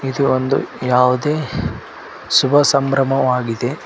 ಇದು ಒಂದು ಯಾವುದೇ ಶುಭ ಸಂಭ್ರಮವಾಗಿದೆ.